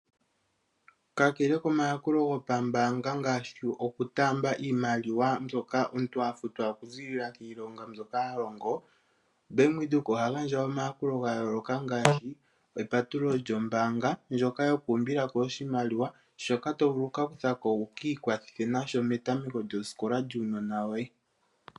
Kakele komayakulo gopambanga ngaashi oku taamba iimaliwa mbyoka omuntu a futwa oku ziilila kiilonga mbyoka ha longo, bank windhoek oha gandja omayakulo ga yooloka ngaashi epatululo lyombanga ndyoka yoku umbilako oshimaliwa shoka to vulu okuka kutha ko wu kiikwathe nasho metameko lyosikola lyuunona woye.